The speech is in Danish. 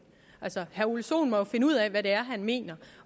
altså herre ole sohn må jo finde ud af hvad det er han mener